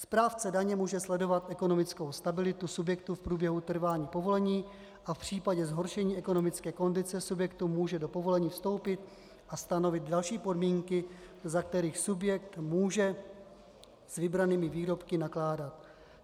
Správce daně může sledovat ekonomickou stabilitu subjektu v průběhu trvání povolení a v případě zhoršení ekonomické kondice subjektu může do povolení vstoupit a stanovit další podmínky, za kterých subjekt může s vybranými výrobky nakládat.